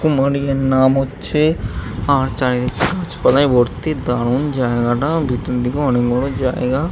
মালিকের নাম হচ্ছে আর চারিদিকে গাছপালায় ভর্তি। দারুন জায়গাটা ভেতর দিকে অনেক বড় জায়গা ।